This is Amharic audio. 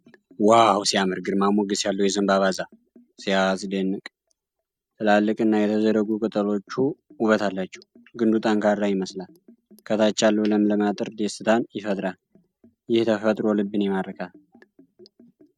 ዋው ሲያምር! ግርማ ሞገስ ያለው የዘንባባ ዛፍ! ሲያስደንቅ! ትላልቅና የተዘረጉ ቅጠሎቹ ውበት አላቸው። ግንዱ ጠንካራ ይመስላል። ከታች ያለው ለምለም አጥር ደስታን ይፈጥራል። ይህ ተፈጥሮ ልብን ይማርካል!